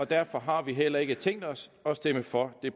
derfor har vi heller ikke tænkt os at stemme for det